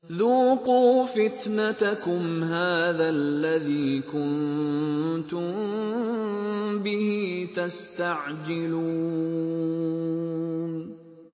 ذُوقُوا فِتْنَتَكُمْ هَٰذَا الَّذِي كُنتُم بِهِ تَسْتَعْجِلُونَ